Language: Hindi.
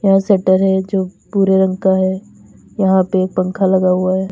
वो शटर है जो भूरे रंग का है यहां पे एक पंखा लगा हुआ है।